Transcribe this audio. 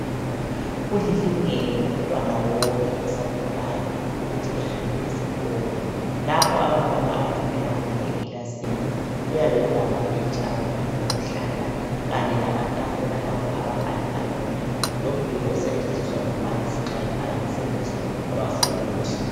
Kulilungelo lomntwana wonke osakhulayo ukuthi ahambe esikolo. Lapha abantwana abafundela khona ekilasini kuyabe kulamabhentshi abantwana okuhlala kanye lamatafula lapho ababhalela khona lomduli osetshenziswa ngumbalisi nxa ebhala umsebenzi wabafundi.